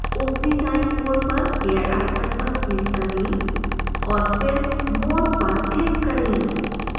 ऊपरी दाईं ओर पर gear icon पर click करें और फिर more पर click करें